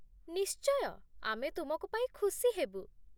ନିଶ୍ଚୟ, ଆମେ ତୁମକୁ ପାଇ ଖୁସି ହେବୁ ।